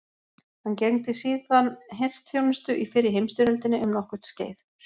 Hann gegndi síðan herþjónustu í fyrri heimstyrjöldinni um nokkurt skeið.